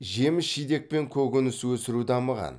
жеміс жидек пен көкөніс өсіру дамыған